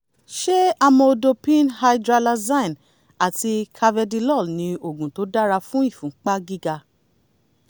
ṣé amlodipine hydralazine àti carvedilol ni oògùn tó dára fún ìfúnpá gíga?